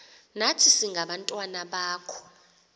nathi singabantwana bakho